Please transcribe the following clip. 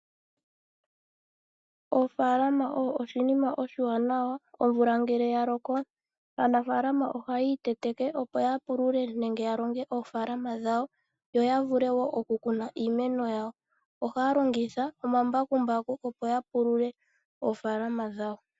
Ofaalama oyo oshinima oshiwanawa. Omvula ngele ya loko aanafalama ohaya iteteke, opo ya pulule omapya gawo ya vule oku kuna iimeno yawo. Ohaya longitha omambakumbaku okupulula ofaalama dhawo.